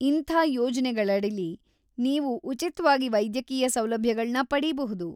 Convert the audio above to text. ಇಂಥ ಯೋಜ್ನೆಗಳಡಿಲಿ, ನೀವು ಉಚಿತ್ವಾಗಿ ವೈದ್ಯಕೀಯ ಸೌಲಭ್ಯಗಳ್ನ ಪಡೀಬಹುದು.